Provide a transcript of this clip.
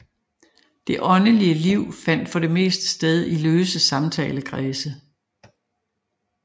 Det åndelige liv fandt for det meste sted i løse samtalekredse